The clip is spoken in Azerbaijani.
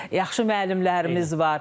Yaxşı müəllimlərimiz var.